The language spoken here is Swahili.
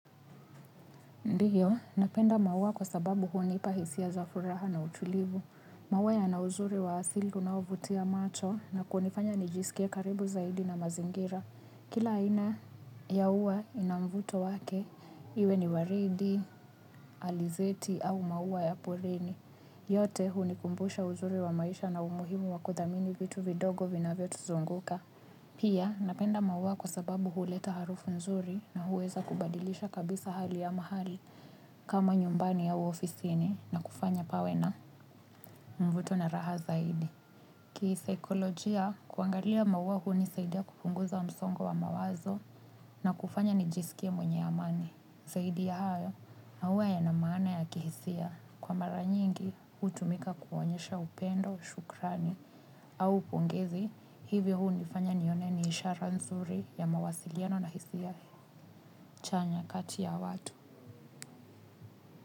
Ndio, napenda maua kwa sababu hunipa hisia zafuraha na utulivu. Maua yana uzuri wa asili unaovutia macho na kunifanya nijisikie karibu zaidi na mazingira. Kila aina ya ua inamvuto wake, iwe ni waridi, alizeti au maua ya porini. Yote hunikumbusha uzuri wa maisha na umuhimu wa kuthamini vitu vidogo vinavyotuzunguka. Pia napenda maua kwa sababu huleta harufu nzuri na huweza kubadilisha kabisa hali ya mahali kama nyumbani au ofisini na kufanya pawe na mvuto na raha zaidi. Kisaikolojia kuangalia maua hunisaidia kupunguza msongo wa mawazo na kufanya nijisikie mwenye amani. Zaidi ya hayo maua yana maana ya kihisia. Kwa mara nyingi, hutumika kuonyesha upendo, shukrani, au pongezi, hivyo hunifanya nione ni ishara nzuri ya mawasiliano na hisia chanya kati ya watu.